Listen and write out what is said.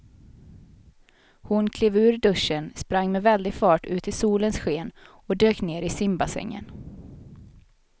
Hon klev ur duschen, sprang med väldig fart ut i solens sken och dök ner i simbassängen.